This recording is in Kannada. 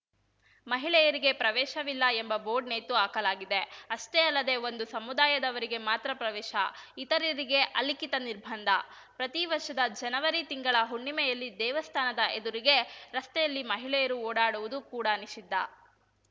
ಮಹಿಳೆಯರಿಗೆ ಪ್ರವೇಶವಿಲ್ಲ ಎಂಬ ಬೋರ್ಡ್‌ ನೇತು ಹಾಕಲಾಗಿದೆ ಅಷ್ಟೇ ಅಲ್ಲದೇ ಒಂದು ಸಮುದಾಯದವರಿಗೆ ಮಾತ್ರ ಪ್ರವೇಶ ಇತರರಿಗೆ ಅಲಿಖಿತ ನಿರ್ಬಂಧ ಪ್ರತಿ ವರ್ಷದ ಜನವರಿ ತಿಂಗಳ ಹುಣ್ಣಿಮೆಯಲ್ಲಿ ದೇವಸ್ಥಾನದ ಎದುರಿಗೆ ರಸ್ತೆಯಲ್ಲಿ ಮಹಿಳೆಯರು ಓಡಾಡುವುದೂ ಕೂಡ ನಿಷಿದ್ಧ